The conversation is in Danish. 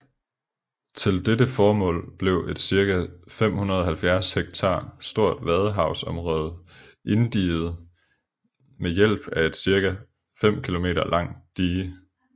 Til dette formål blev et cirka 570 hektar stort vadehavsområde inddiget ved hjælp af et cirka 5 kilomter lang dige